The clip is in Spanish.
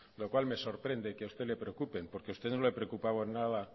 lo cual me sorprende que a usted le preocupen porque a usted no le preocupaban nada